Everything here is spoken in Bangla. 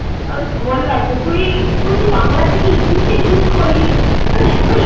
আমি তো বললাম তো তুই~তুই বাংলা থেকে english এ shift করলি তোর এতো